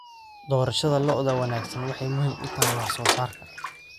Doorashada lo'da wanaagsan waxay muhiim u tahay wax soo saarka.